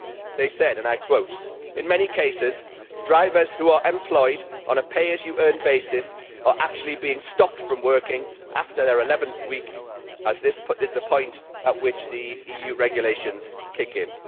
They said, and I quote In many cases drivers who are employed on a pay as you earn basis are actually being stopped from working after their eleventh week as this is the point at which the EU regulations kick in'.